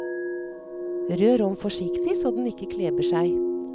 Rør om forsiktig så den ikke kleber seg.